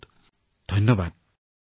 মই ভাবো যে প্ৰত্যেকৰে হৃদয় চুই যাব